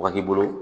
Ka k'i bolo